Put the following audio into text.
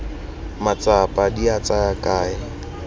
matsapa di a tsaya kae